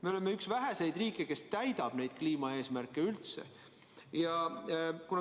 Me oleme üks väheseid riike, kes üldse neid kliimaeesmärke täidab.